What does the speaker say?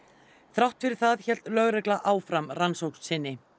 þrátt fyrir það hélt lögregla áfram rannsókn sinni